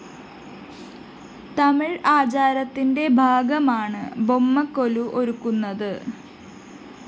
തമിഴ് ആചാരത്തിന്റെ ഭാഗമാണ് ബൊമ്മക്കൊലു ഒരുക്കുന്നത്